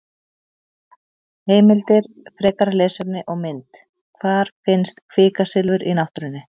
Heimildir, frekara lesefni og mynd: Hvar finnst kvikasilfur í náttúrunni?